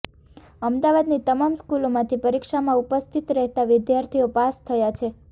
અમદાવાદની તમામ સ્કૂલોમાંથી પરીક્ષામાં ઉપસ્થિત રહેતા વિદ્યાર્થીઓ પાસ થયા છે